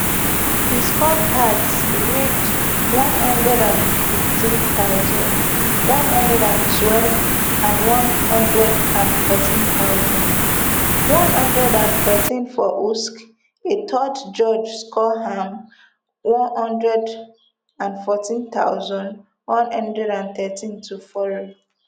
di scorecards read one hundred and fifteen thousand, one hundred and twelve and one hundred and fourteen thousand, one hundred and thirteen for usyk a third judge score am one hundred and fourteen thousand, one hundred and thirteen to fury